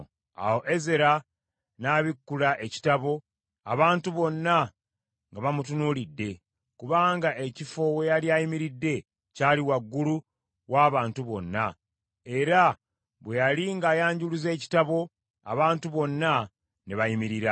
Awo Ezera n’abikkula ekitabo, abantu bonna nga bamutunuulidde kubanga ekifo we yali ayimiridde kyali waggulu w’abantu bonna, era bwe yali ng’ayanjuluza ekitabo, abantu bonna ne bayimirira.